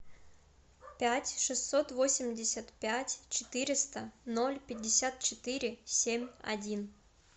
пять шестьсот восемьдесят пять четыреста ноль пятьдесят четыре семь один